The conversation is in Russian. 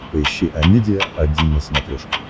поищи амедиа один на смотрешке